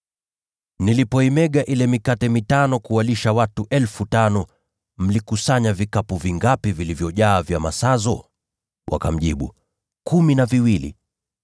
Nilipoimega ile mikate mitano kuwalisha watu 5,000, mlikusanya vikapu vingapi vilivyojaa vya masazo?” Wakamjibu, “Kumi na viwili.”